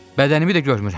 Bədənimi də görmürəm.